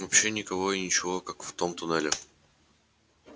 вообще никого и ничего как в том туннеле